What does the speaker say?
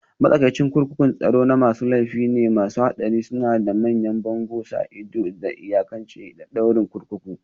Matsakaicin kurkukun tsaro na masu laifi ne masu haɗari, suna da manyan bango, sa ido, da iyakacin ƴan ɗaurin kurkuku